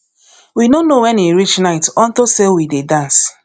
we no know wen e reach night unto say we dey dance